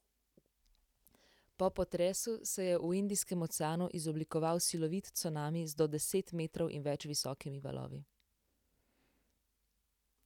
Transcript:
Po potresu se je v Indijskem oceanu izoblikoval silovit cunami z do deset metrov in več visokimi valovi.